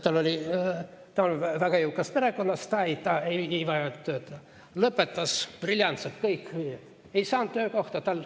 Ta on väga jõukast perekonnast, ta ei vajanud tööd, lõpetas briljantselt, kõik viied, aga ta ei saanud töökohta.